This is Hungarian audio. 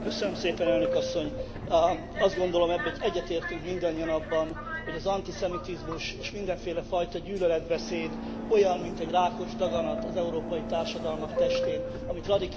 Azt gondolom, egyetértünk mindannyian abban, hogy az antiszemitizmus és mindenféle fajta gyűlöletbeszéd olyan, mint egy rákos daganat az európai társadalmak testén, amit radikális eszközökkel ki kell vágnunk.